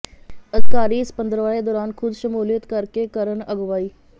ਅਧਿਕਾਰੀ ਇਸ ਪੰਦਰਵਾੜੇ ਦੌਰਾਨ ਖੁਦ ਸਮੂਲੀਅਤ ਕਰਕੇ ਕਰਨ ਅਗਵਾਈ